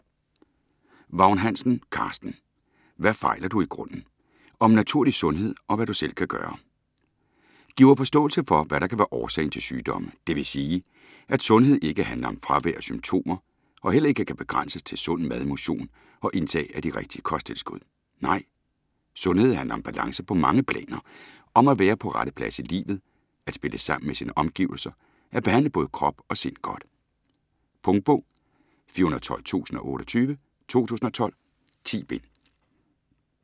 Vagn-Hansen, Carsten: Hvad fejler du i grunden?: om naturlig sundhed - og hvad du selv kan gøre Giver forståelse for, hvad der kan være årsagen til sygdomme. Dvs., at sundhed ikke handler om fravær af symptomer og heller ikke kan begrænses til sund mad, motion og indtag af de rigtige kosttilskud. Nej, sundhed handler om balance på mange planer, om at være på rette plads i livet, at spille sammen med sine omgivelser, at behandle både krop og sind godt. Punktbog 412028 2012. 10 bind.